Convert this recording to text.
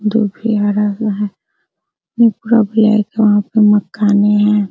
दुभि भरा हुआ है ये पूरा ब्लैक है वहाँ पे मकाने हैं |